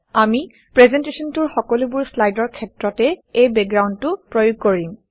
আপুনি প্ৰেজেণ্টেশ্যনটোৰ সকলোবোৰ শ্লাইডৰ ক্ষেত্ৰতে এই বেকগ্ৰাউণ্ডটো প্ৰয়োগ কৰিম